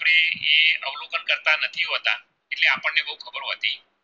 protein